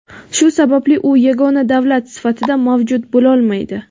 shu sababli u yagona davlat sifatida mavjud bo‘lolmaydi.